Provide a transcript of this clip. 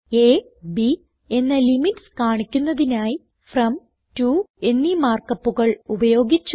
അ b എന്ന limits കാണിക്കുന്നതിനായി from to എന്നീ മാർക്ക് upകൾ ഉപയോഗിച്ചു